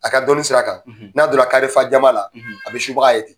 A ka dɔnni sira kan, n'a donna kare fajama la, a bɛ subaga ye ten